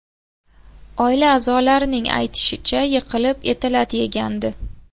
Oila a’zolarining aytishicha, yiqilib eti lat yegandi .